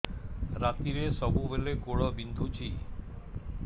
ରାତିରେ ସବୁବେଳେ ଗୋଡ ବିନ୍ଧୁଛି